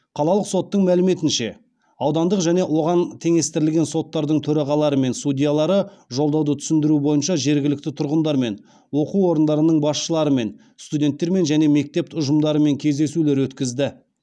қалалық соттың мәліметінше аудандық және оған теңестірілген соттардың төрағалары мен судьялары жолдауды түсіндіру бойынша жергілікті тұрғындармен оқу орындарының басшыларымен студенттермен және мектеп ұжымдарымен кездесулер өткізді